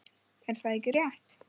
Er það ekki rétt?